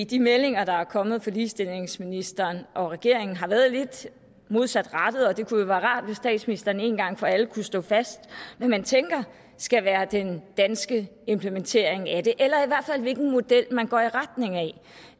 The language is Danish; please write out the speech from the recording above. de meldinger der er kommet fra ligestillingsministeren og regeringen har været lidt modsatrettede og det kunne jo være rart hvis statsministeren en gang for alle kunne slå fast hvad man tænker skal være den danske implementering af det eller i hvilken model man går i retning